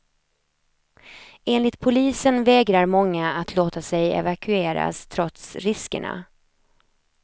Enligt polisen vägrar många att låta sig evakueras trots riskerna.